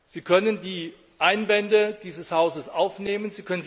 Sie können die Einwände dieses Hauses aufnehmen.